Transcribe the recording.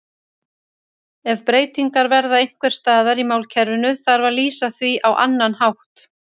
Ef breytingar verða einhvers staðar í málkerfinu þarf að lýsa því á annan hátt.